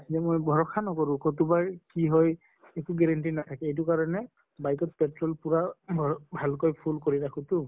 ব মই ভৰসা নকৰো কতোবা কি হয় একো guarantee নাথাকে এইটো কাৰণে bike ত petrol পুৰা ভাল কৈ full কৰি ৰাখো তো